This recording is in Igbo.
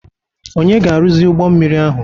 Onye ga-arụzi ụgbọ mmiri ahụ.